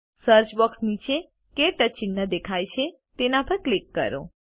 search box નીચે ક્ટચ ચિહ્ન દેખાય છે તેના પર ક્લિક કરો